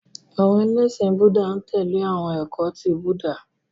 Àwọn ẹlẹ́ṣin Búúdà n tẹ̀lé awọn ẹkọ ti Búúdà.